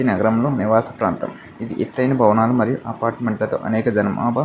ఇది నగరంలో నివాస ప్రాంతం. ఇది ఎత్తైన భవనాలు మరియు అపార్ట్మెంట్ లతో అనేక జనాభ --